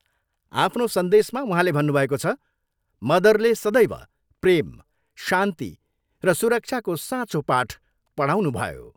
आफ्नो सन्देशमा उहाँले भन्नुभएको छ, मदरले सदैव प्रेम, शान्ति र सुरक्षाको साँचो पाठ पढाउनुभयो।